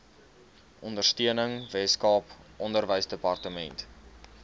ondersteuning weskaap onderwysdepartement